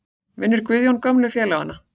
Vinnur Guðjón gömlu félagana?